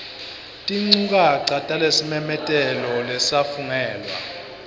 tinchukaca talesimemetelo lesafungelwa